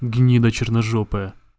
гнида черножопая